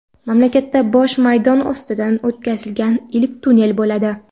mamlakatda bosh maydon ostidan o‘tkazilgan ilk tunnel bo‘ladi.